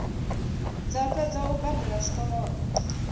dza fhedza u badela zwikolodo